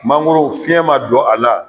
Mangoro fiɲɛ ma don a la